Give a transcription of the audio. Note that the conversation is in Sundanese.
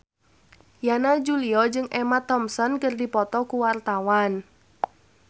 Yana Julio jeung Emma Thompson keur dipoto ku wartawan